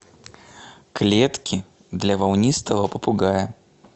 клетки для волнистого попугая